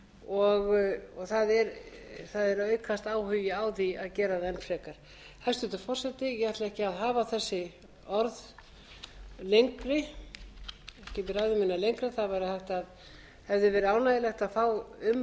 og það er að aukast áhugi á því að gera það enn frekar hæstvirtur forseti ég ætla ekki að hafa þessi orð lengri ekki hafa ræðu mína lengri það hefði verið ánægjulegt að fá umræðu um